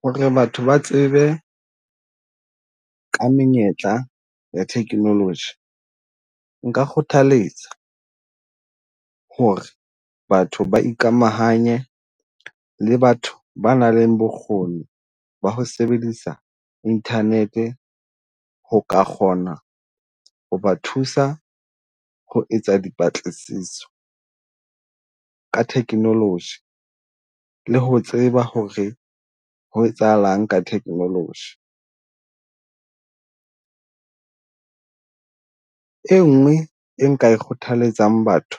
Ho re batho ba tsebe ka menyetla ya technology, nka kgothaletsa ho re batho ba ikamahanye le batho ba nang le bokgoni ba ho sebedisa internet-e ho ka kgona ho ba thusa ho etsa dipatlisiso ka technology. Le ho tseba ho re ho etsahalang ka technology, enngwe e nka e kgothaletsang batho